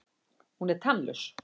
Hún er tannlaus.